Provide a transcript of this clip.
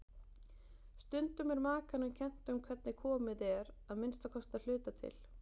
Stundum er makanum kennt um hvernig komið er, að minnsta kosti að hluta til.